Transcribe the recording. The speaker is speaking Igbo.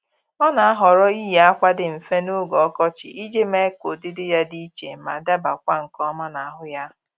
Ọ́ nà-àhọ́rọ́ iyi ákwà dị mfe n’ógè ọkọchị iji mee ka ụ́dị́dị ya dị iche ma dabakwa nke ọma n'ahụ ya